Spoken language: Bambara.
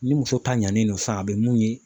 Ni muso ta ɲanni no san a bɛ mun ye